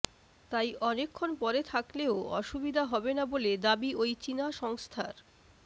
তাই অনেকক্ষণ পরে থাকলেও অসুবিধা হবে না বলে দাবি ওই চিনা সংস্থার